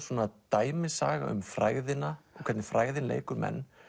svona dæmisaga um frægðina og hvernig frægðin leikur menn